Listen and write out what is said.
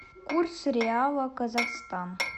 курс реала казахстан